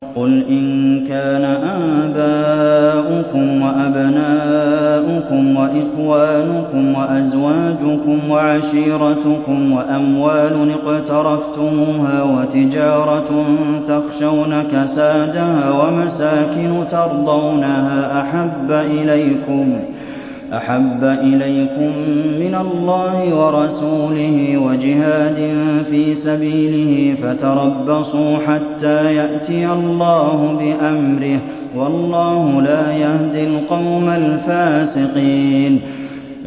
قُلْ إِن كَانَ آبَاؤُكُمْ وَأَبْنَاؤُكُمْ وَإِخْوَانُكُمْ وَأَزْوَاجُكُمْ وَعَشِيرَتُكُمْ وَأَمْوَالٌ اقْتَرَفْتُمُوهَا وَتِجَارَةٌ تَخْشَوْنَ كَسَادَهَا وَمَسَاكِنُ تَرْضَوْنَهَا أَحَبَّ إِلَيْكُم مِّنَ اللَّهِ وَرَسُولِهِ وَجِهَادٍ فِي سَبِيلِهِ فَتَرَبَّصُوا حَتَّىٰ يَأْتِيَ اللَّهُ بِأَمْرِهِ ۗ وَاللَّهُ لَا يَهْدِي الْقَوْمَ الْفَاسِقِينَ